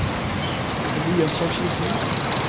Elias Torkildsen